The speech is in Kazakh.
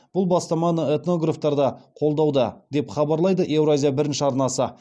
бұл бастаманы этнографтар да қолдауда деп хабарлайды еуразия бірінші арнасы